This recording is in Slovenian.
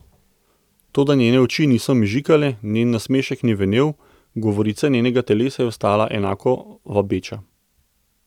Toda njene oči niso mežikale, njen nasmešek ni venel, govorica njenega telesa je ostala enako vabeča.